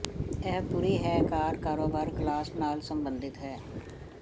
ਇਹ ਪੂਰੀ ਹੈ ਕਾਰ ਕਾਰੋਬਾਰ ਕਲਾਸ ਨਾਲ ਸੰਬੰਧਿਤ ਹੈ